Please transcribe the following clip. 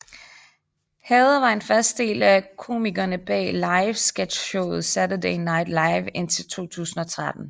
Hader var en fast del af komikerne bag live sketchshowet Saturday Night Live indtil 2013